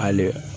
Hali